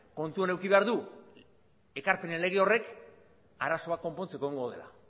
kontutan eduki behar dugu ekarpenen lege hori arazoak konpontzeko egongo dela